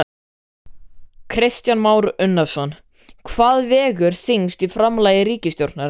Kristján Már Unnarsson: Hvað vegur þyngst í framlagi ríkisstjórnarinnar?